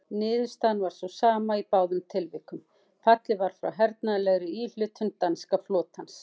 Niðurstaðan var sú sama í báðum tilvikum: fallið var frá hernaðarlegri íhlutun danska flotans.